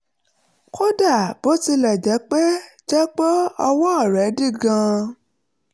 kódà bó tilẹ̀ jẹ́ pé jẹ́ pé ọwọ́ rẹ̀ dí gan-an